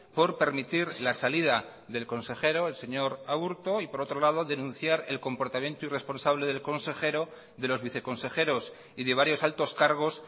por permitir la salida del consejero el señor aburto y por otro lado denunciar el comportamiento irresponsable del consejero de los viceconsejeros y de varios altos cargos